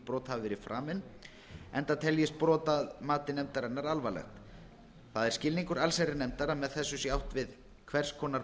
brot hafi verið framið enda teljist brotið að mati nefndarinnar alvarlegt það er skilningur allsherjarnefndar að með þessu sé átt við hvers konar